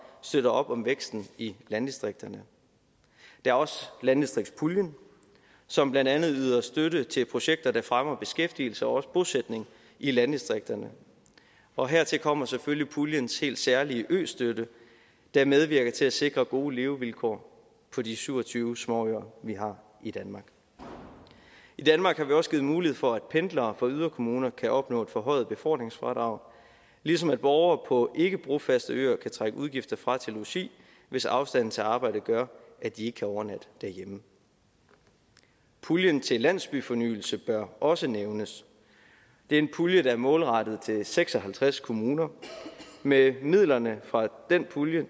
støtter op om væksten i landdistrikterne der er også landdistriktspuljen som blandt andet yder støtte til projekter der fremmer beskæftigelse og også bosætning i landdistrikterne og hertil kommer selvfølgelig puljens helt særlige østøtte der medvirker til at sikre gode levevilkår for de syv og tyve småøer vi har i danmark i danmark har vi også givet mulighed for at pendlere fra yderkommuner kan opnå et forhøjet befordringsfradrag ligesom borgere på ikkebrofaste øer kan trække udgifter fra til logi hvis afstanden til arbejdet gør at de ikke kan overnatte derhjemme puljen til landsbyfornyelse bør også nævnes det er en pulje der er målrettet seks og halvtreds kommuner med midlerne fra den pulje